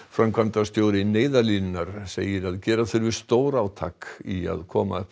framkvæmdastjóri Neyðarlínunnar segir að gera þurfi stórátak í að koma upp